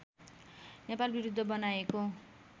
नेपालविरुद्ध बनाएको